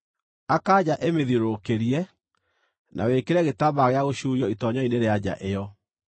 Aka nja ĩmĩthiũrũrũkĩrie, na wĩkĩre gĩtambaya gĩa gũcuurio itoonyero-inĩ rĩa nja ĩyo.